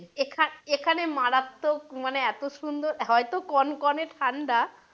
এখানে এখানে মারাত্মক মানে এতো সুন্দর হয়তো কনকনে ঠাণ্ডা,